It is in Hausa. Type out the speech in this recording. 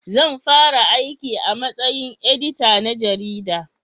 Zan fara aiki a matsayin edita na jarida